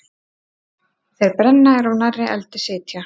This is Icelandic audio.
Þeir brenna er of nærri eldi sitja.